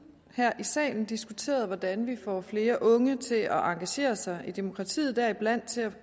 her i salen diskuteret hvordan vi får flere unge til at engagere sig i demokratiet deriblandt